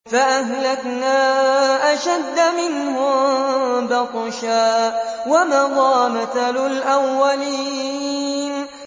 فَأَهْلَكْنَا أَشَدَّ مِنْهُم بَطْشًا وَمَضَىٰ مَثَلُ الْأَوَّلِينَ